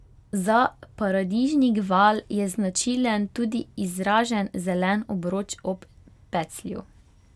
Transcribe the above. Za paradižnik val je značilen tudi izražen zelen obroč ob peclju.